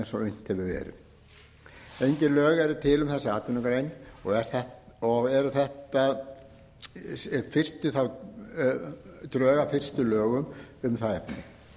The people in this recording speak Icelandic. eins og unnt hefur verið engin lög eru til um þessa atvinnugrein og eru þetta drög að fyrstu lögum um það efni